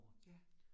Ja